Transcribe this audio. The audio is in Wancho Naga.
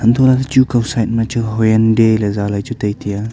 untoh lah chu kaw side ma chu hyundai ley zaley chu tai taiya.